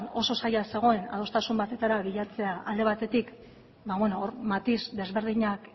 oso zaila zegoen adostasun batetara bilatzea alde batetik hor matiz desberdinak